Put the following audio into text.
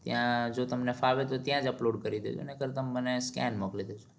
ત્યાં જો તમને ફાવે તો ત્યાં જ upload કરી દેજો નહીતર ત્યાં જ skin મોકલી દેજો